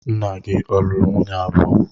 Nna gị ọ̀ luru nwunye abuo.